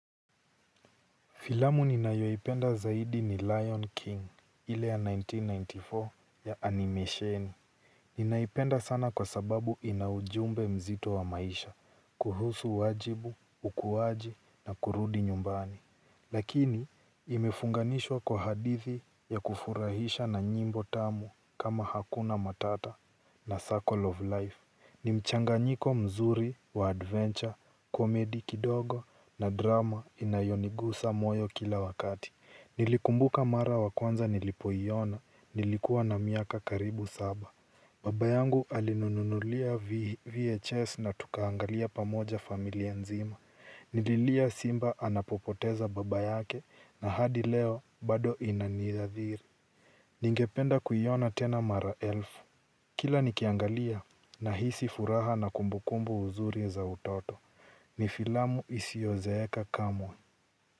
Filamu ninayoipenda zaidi ni Lion King ile ya elfu moja mia tisa tisini na nne ya animesheni. Ninaipenda sana kwa sababu inaujumbe mzito wa maisha, kuhusu wajibu, ukuwaji na kurudi nyumbani. Lakini imefunganishwa kwa hadithi ya kufurahisha na nyimbo tamu kama hakuna matata na circle of life. Ni mchanganyiko mzuri wa adventure, komedi kidogo na drama inayonigusa moyo kila wakati. Nilikumbuka mara wa kwanza nilipoiona nilikuwa na miaka karibu saba. Baba yangu alinununulia VHS na tukaangalia pamoja familia nzima. Nililia simba anapopoteza baba yake na hadi leo bado inaniathiri ningependa kuiona tena mara elfu. Kila nikiangalia nahisi furaha na kumbukumbu uzuri za utoto, ni filamu isiozeeka kamwe.